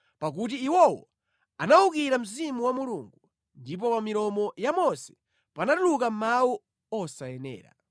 pakuti iwowo anawukira mzimu wa Mulungu, ndipo pa milomo ya Mose panatuluka mawu osayenera.